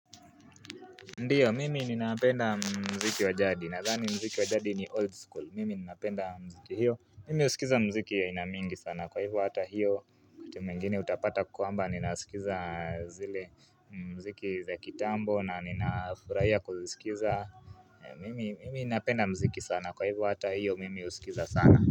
Ndiyo mimi ninapenda mziki wajadi nadhani mziki wajadi ni old school mimi ninapenda mziki hiyo mimi usikiza mziki ya aina mingi sana kwa hivyo hata hiyo wakati mwingine utapata kwamba ninasikiza zile mziki za kitambo na ninafurahia kuzisikiza mimi ninapenda mziki sana kwa hivyo hata hiyo mimi usikiza sana.